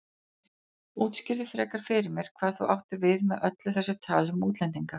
Útskýrðu frekar fyrir mér hvað þú áttir við með öllu þessu tali um útlendinga.